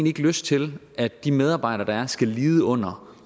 lyst til at de medarbejdere der er skal lide under